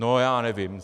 No já nevím.